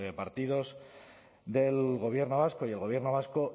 partidos del gobierno vasco y el gobierno vasco